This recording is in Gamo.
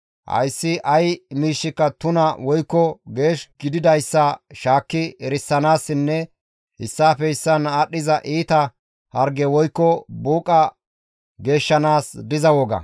hayssi ay miishshika tuna woykko geesh gididayssa shaakki erisanaassinne issaafe issaan aadhdhiza iita harge woykko buuqa geeshshanaas diza woga.